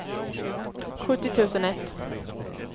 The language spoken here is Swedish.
sjuttio tusen ett